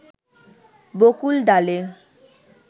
বকুল ডালে